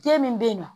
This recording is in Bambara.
Den min bɛ yen nɔ